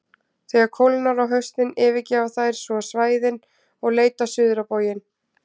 Þegar kólnar á haustin yfirgefa þær svo svæðin og leita suður á bóginn.